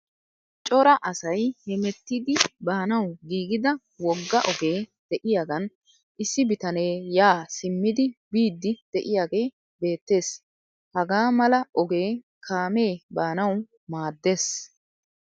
Cora asay hemettidi baanawu giigida wogga ogee de'iyagan issi bitanee yaa simmidi biiddi de'iyagee beettees. Hagaa mala ogee kaamee baanawu maaddees.